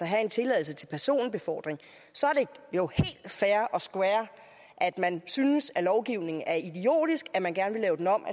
have en tilladelse til personbefordring så er and square at man synes at lovgivningen er idiotisk at man gerne vil lave den om